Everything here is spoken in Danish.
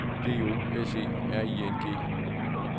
D O S E R I N G